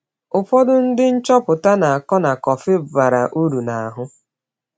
Ụfọdụ ndị nchọpụta na-akọ na kọfị bara uru n’ahụ.